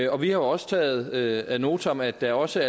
og vi har også taget ad notam at der også